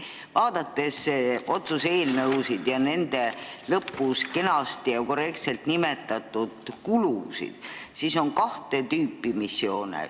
Kui vaadata otsuse eelnõusid ja nende lõpus kenasti ja korrektselt nimetatud kulusid, siis selgub, et on kahte tüüpi missioone.